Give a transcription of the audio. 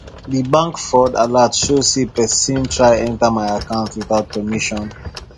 the bank fraud alert show say person try enter my account without permission